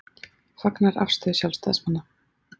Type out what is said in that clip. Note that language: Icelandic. Fagnar afstöðu sjálfstæðismanna